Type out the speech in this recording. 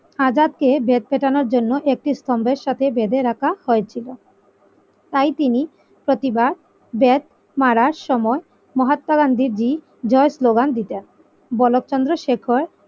আজাদকে বেত পেটানোর জন্য একটি স্তম্ভের সাথে বেঁধে রাখা হয়েছিল তাই তিনি প্রতিবার বেত মারার সময় মহাত্মা গান্ধী জি জয় স্লোগান দিতেন বলোপ্রন শেখর।